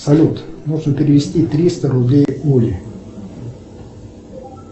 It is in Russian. салют нужно перевести триста рублей оле